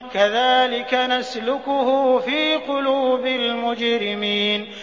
كَذَٰلِكَ نَسْلُكُهُ فِي قُلُوبِ الْمُجْرِمِينَ